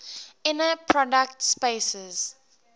inner product spaces